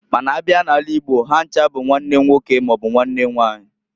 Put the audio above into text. Ma n'a bia n'ala igbo ha ncha bu nwanne nwoke maọbụ nwanne nwanyị.